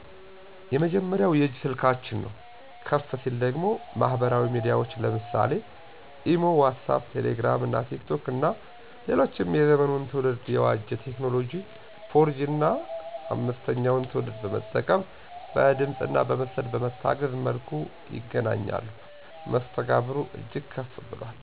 የመጀመሪያው የእጅ ስልካችን ነው። ከፍ ሲል ደግሞ ማህበራዊ ሚዲያዎች ለምሳሌ (ኢሞ ዋትስአፕ ቴሌግራም እና ቲክቶክ ) እና ሌሎችም የዘመኑን ትውልድ የዋጀ ቴክኖሎጂ 4 ጂ 5ተኛውን ትውልድ በመጠቀም በድምፅእና በምስል በታገዘ መልኩ ይገናኛሉ። መስተጋብሩ እጅግ ከፍ ብሏል